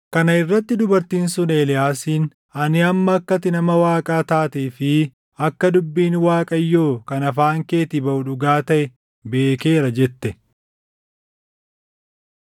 Kana irratti dubartiin sun Eeliyaasiin, “Ani amma akka ati nama Waaqaa taatee fi akka dubbiin Waaqayyoo kan afaan keetii baʼu dhugaa taʼe beekeera” jette.